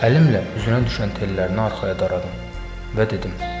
Əlimlə üzünə düşən tellərini arxaya daradım və dedim.